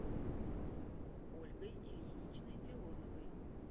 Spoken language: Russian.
ольгой ильиничной филоновой